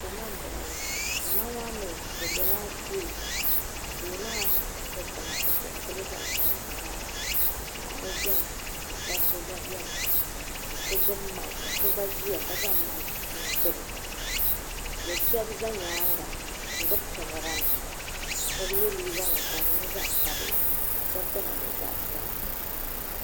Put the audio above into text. Zama m boŋɔla zama maa mee bɛ biɛla duu duu maa dikpina bɛ penti Lila zaɣa piɛla m bala paɣaba biɛni ka dabba biɛni ka so gbibi maaki ka so gba ʒia ka gbibi maaki n tiri o sheba za nyaanga n gbibi kamara nima sheba ye liiga nima ka di nyɛ zaɣa sabila ka sheba dina niŋ zaɣa piɛla.